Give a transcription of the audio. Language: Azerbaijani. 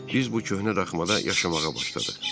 Biz bu köhnə daxmada yaşamağa başladıq.